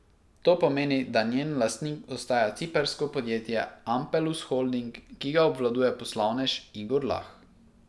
To pomeni, da njen lastnik ostaja ciprsko podjetje Ampelus Holding, ki ga obvladuje poslovnež Igor Lah.